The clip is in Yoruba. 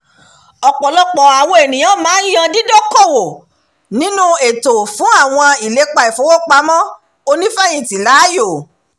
"ọ̀pọ̀lọpọ̀ àwọn ènìyàn máa ń yan dídókowò nínú ètò fún àwọn ìlépa ìfowópamọ́ onífẹ̀yìntì láàyò"